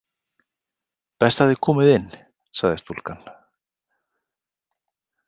Best að þið komið inn, sagði stúlkan.